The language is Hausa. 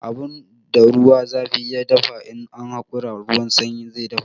Abun da ruwan zafi ya dafa, in an hakura ruwan sanyi zai dafa.